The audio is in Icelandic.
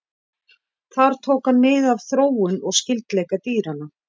Þar tók hann mið af þróun og skyldleika dýranna.